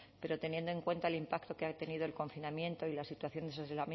pero teniendo en cuenta el impacto que ha tenido el confinamiento y la situación de